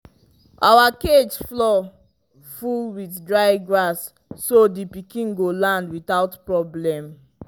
our cage floor full with dry grass so the pikin go land without problem